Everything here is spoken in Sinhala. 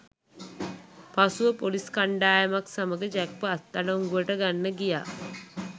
පසුව පොලිස් කණ්ඩායමක් සමග ජැක්ව අත්අඩංගුවට ගන්න ගියා